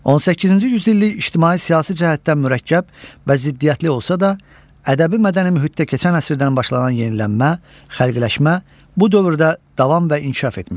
18-ci yüzillik ictimai-siyasi cəhətdən mürəkkəb və ziddiyyətli olsa da, ədəbi-mədəni mühitdə keçən əsrdən başlanan yenilənmə, xəlqləşmə bu dövrdə davam və inkişaf etmişdir.